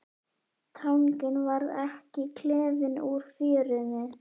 Tanginn varð ekki klifinn úr fjörunni.